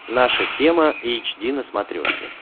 наша тема эйч ди на смотрешке